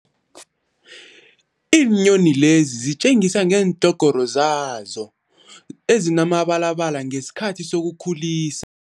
Iinyoni lezi zitjengisi ngeendlhogoro zazo ezinemibalabala ngesikhathi sokukhulisa.